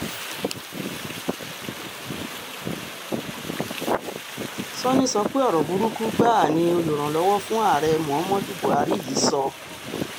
sanni sọ pé ọ̀rọ̀ burúkú gbáà ni olùrànlọ́wọ́ fún ààrẹ muhammadu buhari yìí sọ